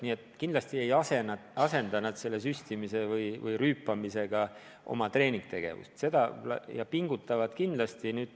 Nii et kindlasti ei asenda nad selle süstimise või rüüpamisega oma treeningtegevust ja pingutavad ikkagi.